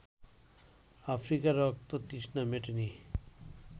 আফ্রিকার রক্ততৃষ্ণা মেটেনি